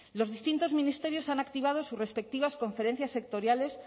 los distintos ministerios han activado sus respectivas conferencias sectoriales